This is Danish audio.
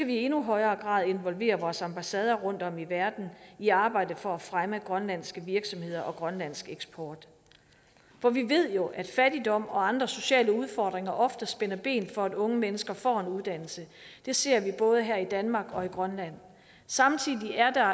vi i endnu højere grad involvere vores ambassader rundtom i verden i arbejdet for at fremme grønlandske virksomheder og grønlandsk eksport for vi ved jo at fattigdom og andre sociale udfordringer ofte spænder ben for at unge mennesker får en uddannelse det ser vi både her i danmark og i grønland samtidig er der